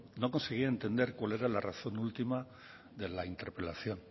no conseguía entender cuál era la razón última de la interpelación